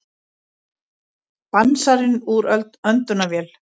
Dansarinn úr öndunarvél